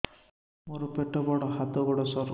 ମୋର ପେଟ ବଡ ହାତ ଗୋଡ ସରୁ